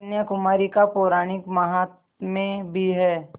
कन्याकुमारी का पौराणिक माहात्म्य भी है